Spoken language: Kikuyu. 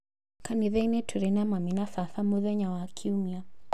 kanitha-inĩ tũrĩ na mami na baba mũthenya wa Kiumia.